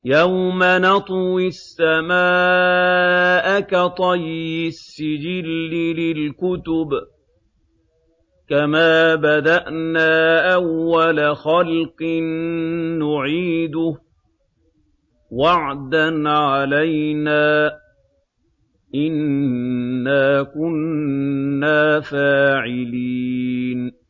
يَوْمَ نَطْوِي السَّمَاءَ كَطَيِّ السِّجِلِّ لِلْكُتُبِ ۚ كَمَا بَدَأْنَا أَوَّلَ خَلْقٍ نُّعِيدُهُ ۚ وَعْدًا عَلَيْنَا ۚ إِنَّا كُنَّا فَاعِلِينَ